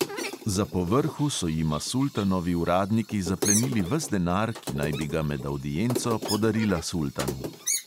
Za povrhu so jima sultanovi uradniki zaplenili ves denar, ki naj bi ga med avdienco podarila sultanu.